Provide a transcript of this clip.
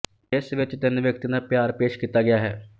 ਜਿਸ ਵਿੱਚ ਤਿੰਨ ਵਿਅਕਤੀਆਂ ਦਾ ਪਿਆਰ ਪੇਸ਼ ਕੀਤਾ ਗਿਆ ਹੈ